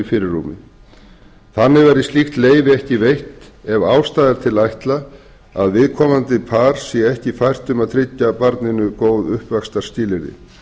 fyrirrúmi þannig verður slíkt leyfi ekki veitt ef ástæða er til að ætla að viðkomandi par sé ekki fært um að tryggja barninu góð uppvaxtarskilyrði